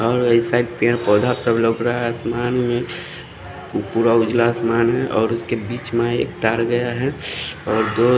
और इस साइड पेड़ पौधा सब लौक रहा है असमान मे पूरा उजला आसमान है और उसके बीच में एक तार गया है और दो--